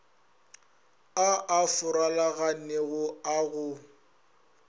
a a farologanego a go